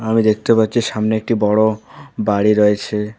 আমি দেখতে পাচ্ছি সামনে একটি বড়ো বাড়ি রয়েছে।